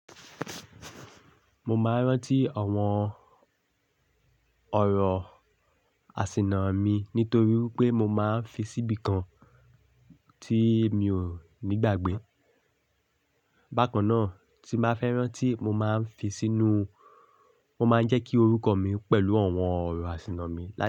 Mo máa ń rántí àwọn ọ̀rọ̀ àsìnà mi nítorí pé mo máa ń fi síbi kan tí mi ò ní gbàgbé. Bákan náà, tí bá fẹ́ rántí, mo máa ń fi sínú, mo máa ń jẹ́ kí orúkọ mi pẹ̀lú àwọn ọ̀rọ̀ àṣìnà mi.